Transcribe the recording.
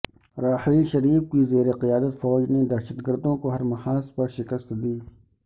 راحیل شریف کی زیرقیادت فوج نے دہشت گردوں کو ہر محاذ پر شکست دی